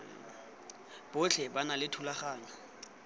botlhe ba na le dithulaganyo